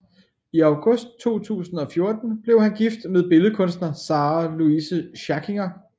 I august 2014 blev han gift med billedkunstner Sarah Louise Schackinger